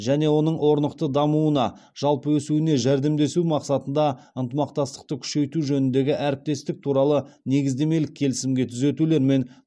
және оның орнықты дамуына жалпы өсуіне жәрдемдесу мақсатында ынтымақтастықты күшейту жөніндегі әріптестік туралы негіздемелік келісімге түзетулер мен